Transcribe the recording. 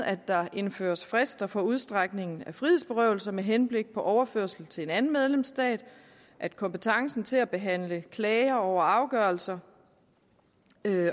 at der indføres frister for udstrækningen af frihedsberøvelse med henblik på overførelse til en anden medlemsstat at kompetencen til at behandle klager over afgørelser